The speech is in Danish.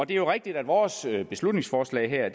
det er jo rigtigt at vores beslutningsforslag her